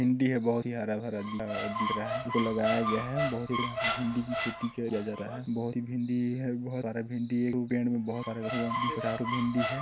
भिंडी हैं बहुत ही हरा-भरा दिख रहा हैं इसे लगाया गया हैं बहुत ही भिंडी की खेती किया जाता हैं बहुत ही भिंडी हैं बहुत सारा भिंडी हैं एक-दो पेड़ में बहुत सारा बिसरारु भिंडी हैं।